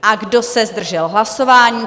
A kdo se zdržel hlasování?